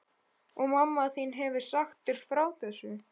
Og mamma þín hefur sagt þér frá þessu?